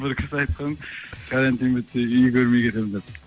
бір кісі айтқан карантин бітсе үй көрмей кетемін деп